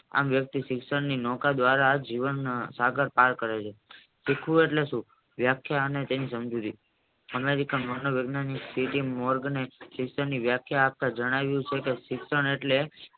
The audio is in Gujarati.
આમ વ્યક્તિ શિક્ષણની નૌકા દ્વારા સાગર પાર કરે છે શીખવું એટલે સુ વ્યાખ્યા અને તેની સમજુતી અમેરિકા માનો વિજ્ઞાન મોર્ગનની વ્યાખ્યા આપતા જણાવ્યું છે કે શિક્ષણ એટલે